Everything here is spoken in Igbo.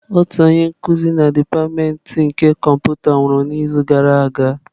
Otu onye nkuzi na dipatịmentị nke kọmputa sayensị nwụrụ n'izu gara aga.